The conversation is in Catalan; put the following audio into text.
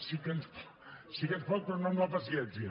sí que ens pot però no amb la paciència